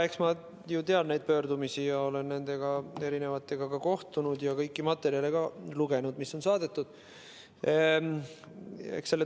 Eks ma ju tean neid pöördumisi, olen nende organisatsioonidega ka kohtunud ja kõiki materjale lugenud, mis on saadetud.